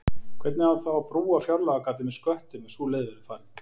Hvernig á þá að brúa fjárlagagatið með sköttum ef sú leið verður farin?